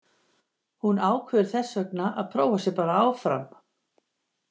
Hún ákveður þessvegna að prófa sig bara áfram.